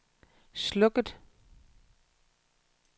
slukket